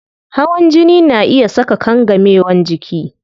Hawan jini na iya saka kangamewan jiki